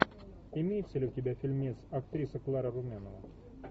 имеется ли у тебя фильмец актриса клара румянова